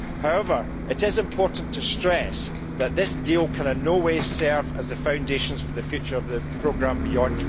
However, it is important to stress that this deal can in no way serve as the foundation for the future of the programme beyond